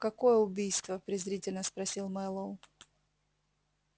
какое убийство презрительно спросил мэллоу